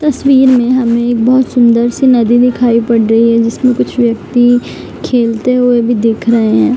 तस्वीर में हमें एक बहुत सुंदर सी नदी दिखाई पड रही है जिसमें कुछ व्यक्ति खेलते हुए भी दिख रहे है।